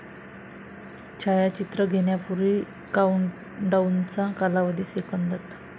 छायाचित्र घेण्यापूर्वी काउंटडाउनचा कालावधी, सेकंदात